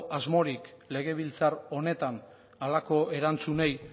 asmorik legebiltzar honetan halako erantzunei